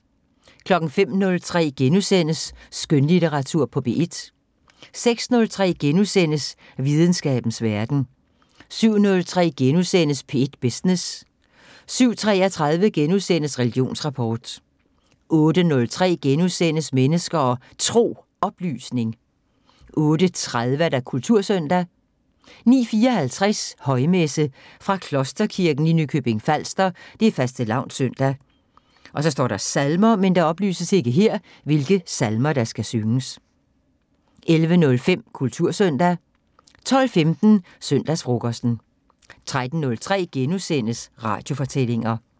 05:03: Skønlitteratur på P1 * 06:03: Videnskabens Verden * 07:03: P1 Business * 07:33: Religionsrapport * 08:03: Mennesker og Tro: Oplysning * 08:30: Kultursøndag 09:54: Højmesse - fra Klosterkirken i Nykøbing Falster. Fastelavns søndag. Salmer: 11:05: Kultursøndag 12:15: Søndagsfrokosten 13:03: Radiofortællinger *